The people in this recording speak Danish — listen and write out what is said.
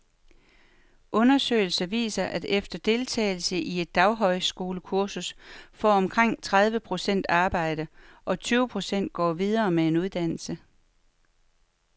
Undersøgelser viser, at efter deltagelse i et daghøjskolekursus får omkring tredive procent arbejde, og tyve procent går videre med en uddannelse.